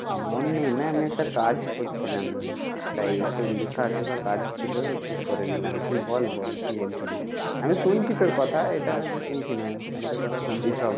মন নেই না আমি একটা কাজ করছিলাম তাই একটু লেখাজোখার কাজ ছিল করে নিলাম তুই বল বল কি বলছিলি আমি শুনছি তোর কথা এটা নয় যে শুনছি না আমি তোর কথা শুনছি সব।